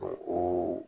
O